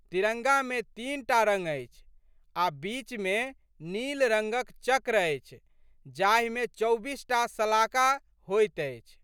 तिरंगामे तीन टा रंग अछि आ' बीचमे नील रंगक चक्र अछि जाहिमे चौबीसटा शलाका होइत अछि।